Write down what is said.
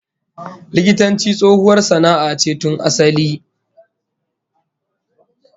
Likitanci tsohuwar sana'a ce tun asali